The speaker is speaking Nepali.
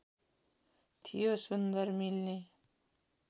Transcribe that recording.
थियो सुन्दर मिल्ने